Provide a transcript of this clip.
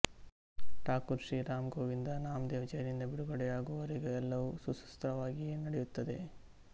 ಥಾಕೂರ್ ಶ್ರೀ ರಾಮ್ ಗೋವಿಂದ ನಾಮದೇವ್ ಜೈಲಿನಿಂದ ಬಿಡುಗಡೆಯಾಗುವವರೆಗೆ ಎಲ್ಲವೂ ಸುಸೂತ್ರವಾಗಿಯೇ ನಡೆಯುತ್ತದೆ